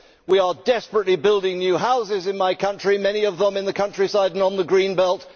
We are desperately building new houses in my country, many of them in the countryside and on the greenbelt.